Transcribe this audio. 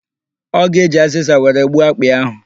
Ọ ga-eji azịza were gbuo akpị ahụ.